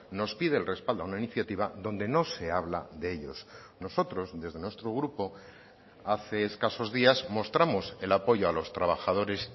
nos pide el respaldo a una iniciativa donde no se habla de ellos nosotros desde nuestro grupo hace escasos días mostramos el apoyo a los trabajadores